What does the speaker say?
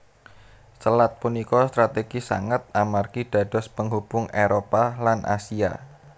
Selat punika strategis sanget amargi dados penghubung Éropah lan Asia